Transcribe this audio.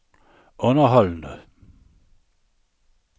underholdende